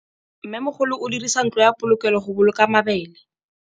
Mmêmogolô o dirisa ntlo ya polokêlô, go boloka mabele.